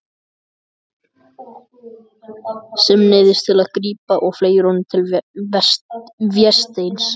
Sem neyðist til að grípa og fleygir honum til Vésteins.